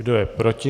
Kdo je proti?